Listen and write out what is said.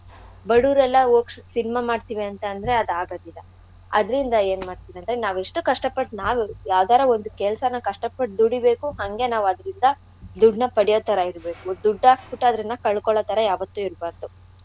ಬಡುವ್ರ್ ಎಲ್ಲಾ ಹೋಗ್ cinema ಮಾಡ್ತೀನಂತಂದ್ರೆ ಅದ್ ಆಗದಿಲ್ಲ. ಅದ್ರಿಂದ ಏನ್ ಮಾಡ್ಬೇಕಂದ್ರೆ ನಾವ್ ಎಷ್ಟು ಕಷ್ಟಪಟ್ ನಾವು ಯಾವ್ದಾರ ಒಂದ್ ಕೆಲ್ಸನ ಕಷ್ಟಪಟ್ ದುಡಿೇಬೇಕು ಹಂಗೆ ನಾವ್ ಅದ್ರಿಂದ ದುಡ್ದ್ನ ಪಡ್ಯೋ ತರ ಇರ್ಬೇಕು. ದುಡ್ದ್ ಹಾಕ್ಬಿಟ್ಟು ಅದ್ನ ಕಳ್ಕೊಳ್ಳೋ ತರ ಯಾವತ್ತೂ ಇರ್ಬಾರ್ದು.